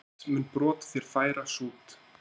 Fót mun brot þér færa sút.